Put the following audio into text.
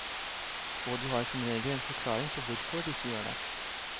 Og de har som regel en forklaring på hvorfor de ikke gjør det.